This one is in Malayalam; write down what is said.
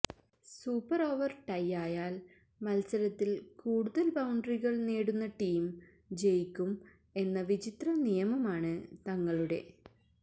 സൂപ്പർ ഓവർ ടൈ ആയാൽ മത്സരത്തിൽ കൂടുതൽ ബൌണ്ടറികൾ നേടുന്ന ടീം ജയിക്കും എന്ന വിചിത്ര നിയമമാണ് തങ്ങളുടെ